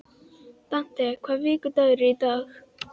Dante, hvaða vikudagur er í dag?